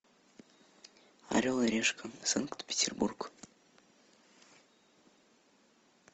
орел и решка санкт петербург